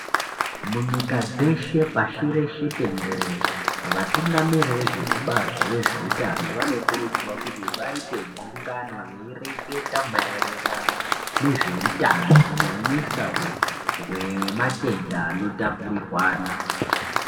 Munyika dzeshe pashi reshe tenderera vatungamiriri vezvekubazi rezvehutano vanokurudzirwa kuti vaite gungano veireketa maererano nezvehutano huisa hwematenda anotapurirwana.